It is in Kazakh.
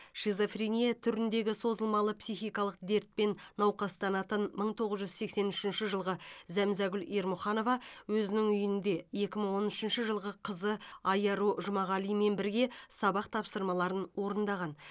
шизофрения түріндегі созылмалы психикалық дертпен науқастанатын мың тоғыз жүз сексен үшінші жылғы зәмзагүл ермұханова өзінің үйінде екі мың он үшінші жылғы қызы айару жұмағалимен бірге сабақ тапсырмаларын орындаған